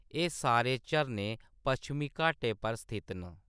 एह्‌‌ सारे झरने पच्छमी घाटै पर स्थित न।